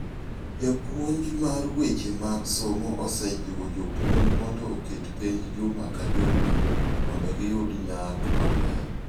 Japuonj mar weche mag somo osejiwo jopuonj mondo oket penj juma ka juma mondo giyud nyak maber.